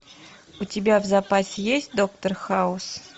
у тебя в запасе есть доктор хаус